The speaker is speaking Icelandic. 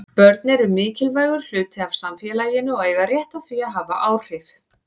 Börn eru mikilvægur hluti af samfélaginu og eiga rétt á því að hafa áhrif.